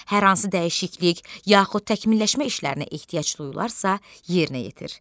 Hər hansı dəyişiklik yaxud təkmilləşmə işlərinə ehtiyac duyularsa, yerinə yetir.